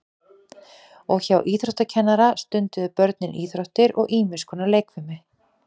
og hjá íþróttakennara stunduðu börnin íþróttir og ýmis konar leikfimi